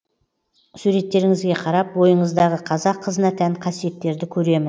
суреттеріңізге қарап бойыңыздағы қазақ қызына тән қасиеттерді көремін